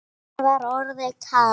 Mér var orðið kalt.